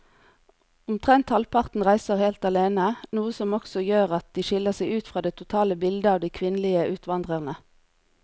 Omtrent halvparten reiser helt alene, noe som også gjør at de skiller seg ut fra det totale bildet av de kvinnelige utvandrerne.